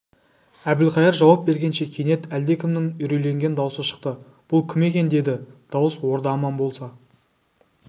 әбілқайыр жауап бергенше кенет әлдекімнің үрейленген даусы шықты бұл кім екен деді дауыс орда аман болса